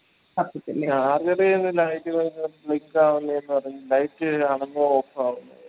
A charger light കാണുന്ന് off ആവുന്ന്